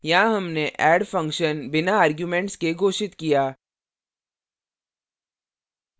यहाँ हमने add function बिना arguments के घोषित किया